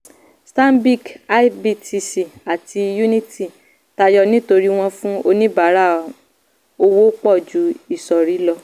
stanbic ibtc àti unity tayọ nítorí wọ́n fún oníbàárà owó pọ̀ ju ìsọ̀rí lọ.